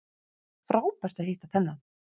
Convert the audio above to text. Frábært að hitta þennan